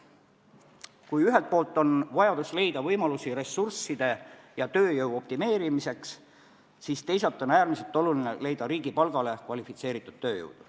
Kui ühelt poolt on vajadus leida võimalusi ressursside ja tööjõu optimeerimiseks, siis teisalt on äärmiselt oluline leida riigipalgale kvalifitseeritud tööjõudu.